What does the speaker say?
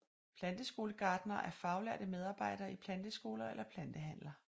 Planteskolegartnere er faglærte medarbejdere i planteskoler eller plantehandler